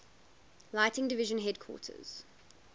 lighting division headquarters